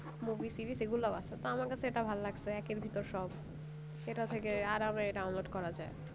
movie series এগুলোও আছে তা আমার কাছে এটা ভালো লাগছে একের ভেতর সব সেটা থেকে আরামে download করা যায়